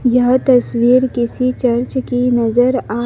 यह तस्वीर किसी चर्च की नजर आ--